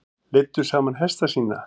Leiddu saman hesta sína